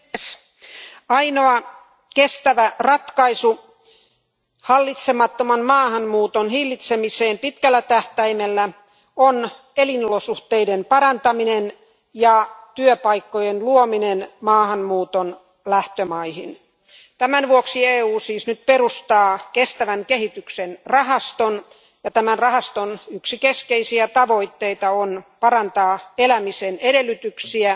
Arvoisa puhemies, ainoa kestävä ratkaisu hallitsemattoman maahanmuuton hillitsemiseen pitkällä tähtäimellä on elinolosuhteiden parantaminen ja työpaikkojen luominen maahanmuuton lähtömaihin. Tämän vuoksi EU siis nyt perustaa kestävän kehityksen rahaston, ja tämän rahaston yksi keskeisiä tavoitteita on parantaa elämisen edellytyksiä